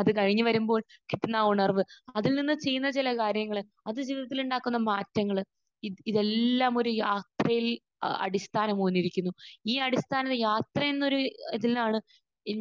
അത് കഴിഞ്ഞ് വരുമ്പോൾ കിട്ടുന്ന ആ ഉണർവ്വ്. അതിൽ നിന്ന് ചെയ്യുന്ന ചില കാര്യങ്ങൾ. അത് ജീവിതത്തിൽ ഉണ്ടാക്കുന്ന മാറ്റങ്ങൾ. ഇത് ഇതെല്ലാമൊരു യാ അടിസ്ഥനമായി ഉയർന്നിരിക്കുന്നു. ഈ അടിസ്ഥാന യാത്ര എന്നൊരു ഇതിൽ നിന്നാണ്